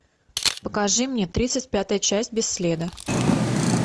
покажи мне тридцать пятая часть без следа